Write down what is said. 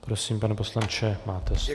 Prosím, pane poslanče, máte slovo.